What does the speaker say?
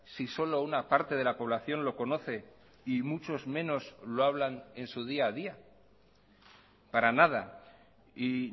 si solo una parte de la población lo conoce y muchos menos lo hablan en su día a día para nada y